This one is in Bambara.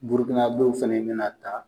Burukunabew fana be na taa.